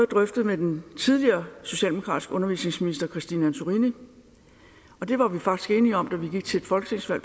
drøftede med den tidligere socialdemokratiske undervisningsminister christine antorini og det var vi faktisk enige om da vi gik til et folketingsvalg